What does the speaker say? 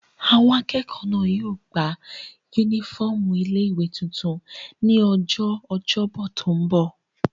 Àwọn akẹ́kọ̀ọ́ náà yóò gba yúnífọ́ọ̀mù ilé-ìwé tuntun ní ọjọ́ ọjọ́bọ̀ tó n bọ̀